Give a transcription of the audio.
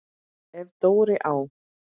Ef Dóri á